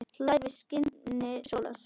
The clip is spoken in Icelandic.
hlær við skini sólar